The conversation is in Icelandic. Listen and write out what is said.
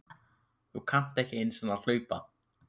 Þú kannt ekki einu sinni að hlaupa